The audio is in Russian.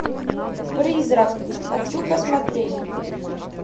призрак хочу посмотреть